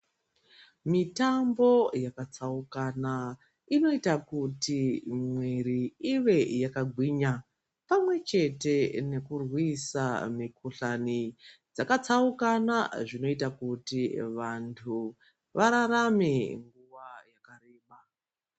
Mitambo yakatsaukana inoita kuti mwiri ive yakagwinya pamwechete nekurwisa mikuhlani dzakatsaukana zvinoita kuti vantu vararame nguwa yakareba.